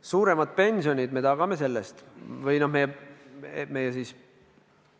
Suurema pensioni me tagame sellega või meie